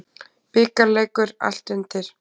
Bikarleikur, allt undir.